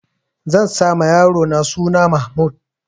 Zan sa ma yarona suna Mahmud.